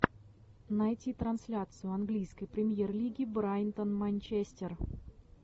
найти трансляцию английской премьер лиги брайтон манчестер